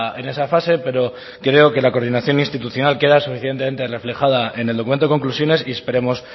en esa fase pero creo que la coordinación institucional queda suficientemente reflejada en el documento de conclusiones y esperemos